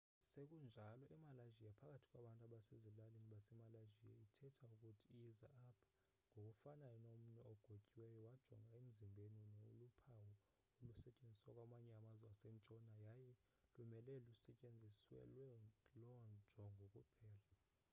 sekunjalo emalaysia phakathi kwabantu basezilalini basemalaysia ithetha ukuthi yiza apha ngokufanayo nomnwe ogotyiweyo wajonga emzimbeni noluphawu olusetyenziswa kwamanye amazwe asentshona yaye lumele lusetyenziselwe loo njongo kuphela